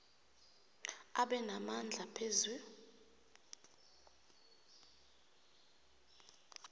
abe namandla phezu